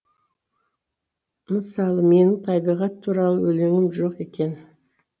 мысалы менің табиғат туралы өлеңім жоқ екен